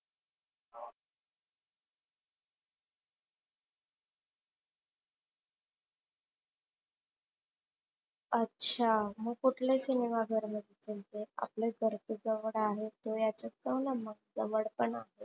अच्छा मग कुठल्या सिनेमा घर मध्ये जायचं? आपल्याला घराच्या जवळ आहे त्याच्यात पाहुणा मग जवळ पण आहे.